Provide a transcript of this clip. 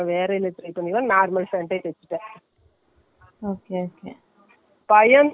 ரெண்டு நாளா நல்லா full ல சாப்டுட்டு exercise செய்யல இப்போ இன்னும் கொஞ்சம் நல்ல இருந்தா விட்டுறது .